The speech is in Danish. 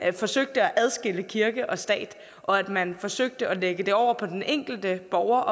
forsøgte at adskille kirke og stat og at man forsøgte at lægge det over på den enkelte borger